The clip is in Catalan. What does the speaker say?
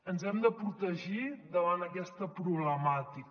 ens hem de protegir davant d’aquesta problemàtica